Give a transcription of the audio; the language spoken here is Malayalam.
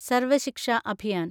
സർവ ശിക്ഷ അഭിയാൻ